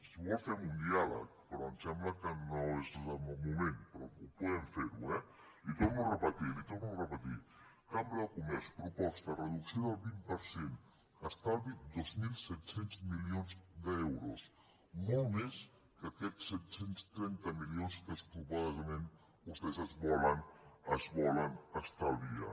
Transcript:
si vol fem un diàleg però em sembla que no és el moment però el podem fer eh li ho torno a repetir li ho torno a repetir cambra de comerç proposta reducció del vint per cent estalvi dos mil set cents milions d’euros molt més que aquests set cents i trenta milions que suposadament vostès es volen estalviar